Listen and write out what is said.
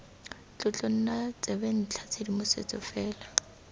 tlotlo nna tsebentlha tshedimosetso fela